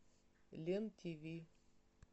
лен ти ви